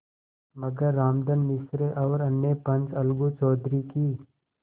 मगर रामधन मिश्र और अन्य पंच अलगू चौधरी की